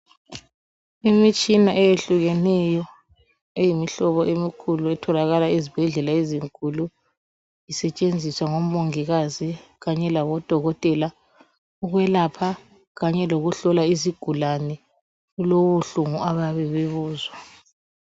Imitshina eyehlukeneyo eyimihlobo emikhulu etholakala ezibhedlela ezinkulu isetshenziswa ngomongikazi kanye labodokotela ukwelapha kanye lokuhlola izigulane kulobuhlungu abayabe bebuzwa.